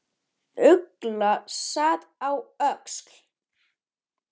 Ugla sat á öxl.